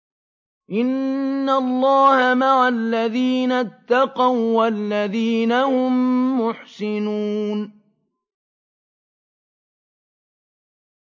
إِنَّ اللَّهَ مَعَ الَّذِينَ اتَّقَوا وَّالَّذِينَ هُم مُّحْسِنُونَ